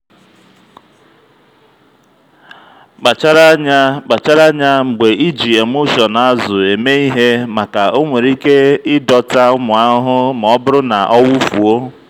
kpachara anya kpachara anya mgbe iji emulsion azụ eme ihe maka o nwere ike ịdọta ụmụ ahụhụ ma ọ bụrụ na ọwụfuo.